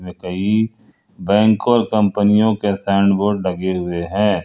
कई बैंकों कंपनियों के साइन बोर्ड लगे हुए हैं।